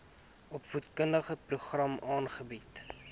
opvoedkundige programme aanbied